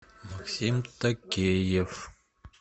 максим такеев